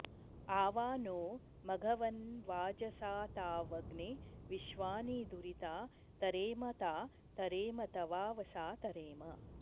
अवा॑ नो मघव॒न्वाज॑साता॒वग्ने॒ विश्वा॑नि दुरि॒ता त॑रेम॒ ता त॑रेम॒ तवाव॑सा तरेम